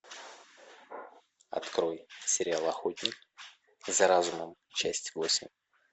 открой сериал охотник за разумом часть восемь